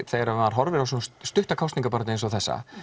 þegar maður horfir á svona stutta kosningabaráttu eins og þessa